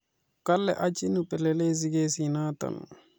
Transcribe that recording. Kole achin upelelezi kesinoto